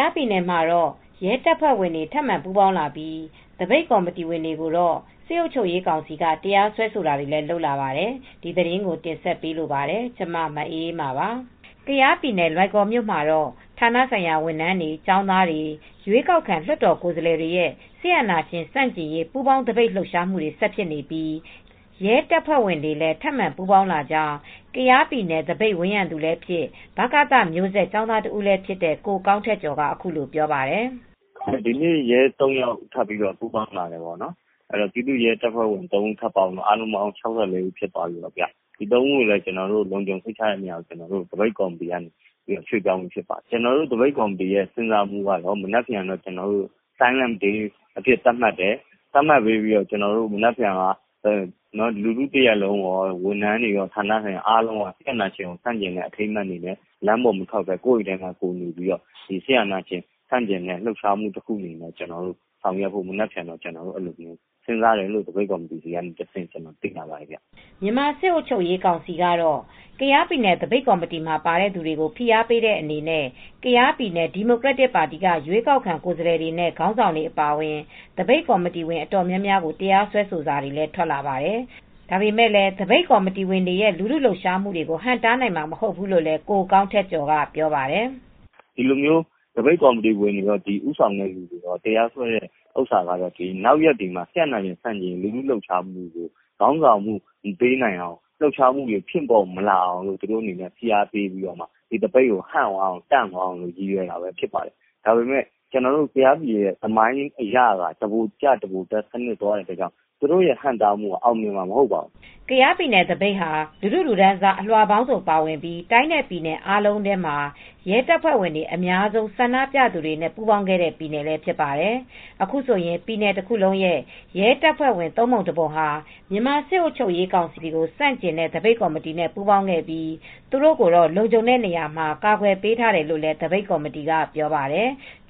ားပြည်နယ်မှာတော့ ရဲတပ်ဖွဲ့ဝင်တွေ ထပ်မံပူးပေါင်းလာပြီး သပိတ်ကော်မတီဝင်တွေကိုတော့ စစ်အုပ်ချုပ်ရေးကောင်စီက တရားစွဲဆိုတာတွေလည်း လုပ်လာပါတယ်။ ဒီသတင်းကို ဗွီအိုအေမြန်မာပိုင်း သတင်းထောက် မအေးအေးမာက တင်ဆက်ပေးမှာ ဖြစ်ပါတယ်။ ကယားပြည်နယ် လွိုင်ကော်မြို့မှာတော့ ဌာနဆိုင်ရာဝန်ထမ်းတွေ၊ ကျောင်းသားတွေ၊ ရွေးကောက်ခံလွှတ်တော်ကိုယ်စားလှယ်တွေရဲ့ စစ်အာဏာရှင်ဆန့်ကျင်ရေး ပူးပေါင်းသပိတ်လှုပ်ရှားဆက်ဖြစ်နေပြီး ရဲတပ်ဖွဲ့ဝင်တွေလည်း ထပ်မံပူးပေါင်းလာကြောင်း ကယားပြည်နယ်သပိတ်ဝန်းရံသူလည်းဖြစ်၊ ဗကသမျိုးဆက်ကျောင်းသားတဦးလည်းဖြစ်တဲ့ ကိုကောင်းထက်ကျော်က အခုလိုပြောပါတယ်။ "ဒီနေ့ ရဲ သုံး ယောက်ထပ်ပြီး ပူးပေါင်းလာပါတယ်။ အခုဆိုရင် ပူးပေါင်းလာတဲ့ ရဲတပ်ဖွဲ့ဝင် ၆၄ ဦး ရှိသွားပါပြီ။ ဒီ သုံး ဦးကို သပိတ်ကော်မတီက လုံခြုံတဲ့နေရာကို ပြောင်းရွှေ့ပြီးသွားပါပြီ။ ကျနော်တို့ သပိတ်ကော်မတီဝင်တွေရဲ့ စဉ်းစားမှုက မနက်ဖြန်မှာ Silence day အဖြစ်သတ်မှတ်တယ်။ သတ်မှတ်ပြီး မနက်ဖြန်မှာ လူထုတရပ်လုံးရော၊ ဝန်ထမ်းတွေရော ဌာနဆိုင်ရာတွေက စစ်အာဏာရှင်ကို ဆန့်ကျင်ပြီး လမ်းပေါ်မထွက်ဘဲ ကိုယ့်အိမ်ထဲမှာ နေပြီး ဆန့်ကျင့်ကြဖို့ သပိတ်ကော်မတီက စဉ်းစားထားပါတယ်။" မြန်မာစစ်အုပ်ချုပ်ရေးကောင်စီကတော့ ကယားပြည်နယ် သပိတ်ကော်မတီမှာ ပါတဲ့သူတွေကို ဖိအားပေးတဲ့အနေနဲ့ ကယားပြည်နယ် ဒီမိုကရက်တစ်ပါတီက ရွေးကောက်ခံကိုယ်စားလှယ်တွေနဲ့ ခေါင်းဆောင်တွေအပါအဝင် သပိတ်ကော်မတီဝင်အတော်များများကို တရားစွဲဆိုစာတွေ ထွက်လာပါတယ်။ ဒါပေမဲ့ သပိတ်ကော်မတီဝင်တွေရဲ့ လူထုလှုပ်ရှားမှုတွေကို ဟန့်တားနိုင်မှာ မဟုတ်ဘူးလို့လည်း ကိုကောင်းထက်ကျော်ကပြောပါတယ်။ "ဒီလိုမျိုး သပိတ်ကော်မတီဝင်တွေရော၊ ဦးဆောင်တဲ့သူတွေကိုရော တရားစွဲတဲ့လုပ်ရပ်တွေကတော့ နောက်ရက်တွေမှာ စစ်အာဏာရှင်ဆန့်ကျင်ရေး လူထုလှုပ်ရှားမှုတွေကို ခေါင်းဆောင်မှု မပေးနိုင်အောင် ဖိအားပေးပြီး သပိတ်ကို တန့်သွားအောင်၊ ဟန့်သွားအောင်လုပ်တာဖြစ်ပါတယ်။ ကယားပြည်နယ်သမိုင်းအရ တဗိုလ်ကျတဗိုလ်တက်စံနစ်နဲ့ သွားတဲ့အတွက်သူတို့ဟန့်တားမှုက အောင်မြင်မှာ မဟုတ်ပါဘူး။" ကယားပြည်နယ်သပိတ်ဟာ လူထုလူတန်းစားအလွှာပေါင်းစုံ ပါဝင်ပြီး တိုင်းနဲ့ ပြည်နယ် အားလုံးထဲမှာ ရဲတပ်ဖွဲ့ဝင်အများဆုံး ဆန္ဒပြသူတွေနဲ့ ပူးပေါင်းခဲ့တဲ့ပြည်နယ်ဖြစ်ပါတယ်။ အခုဆိုရင် ပြည်နယ်တခုလုံးရဲ့ ရဲတပ်ဖွဲ့ဝင် သုံးပုံတပုံဟာ မြန်မာစစ်အုပ်ချုပ်ရေးကောင်စီကိုဆန့်ကျင်တဲ့ သပိတ်ကော်မတီနဲ့ ပူးပေါင်းခဲ့ပြီး သူတို့ကိုတော့ လုံခြုံတဲ့နေရာမှာ ကာကွယ်ပေးထားတယ်လို့ သပိတ်ကော်မတီက ပြောပါတယ်။